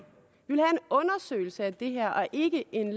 undersøgelse af det her og ikke en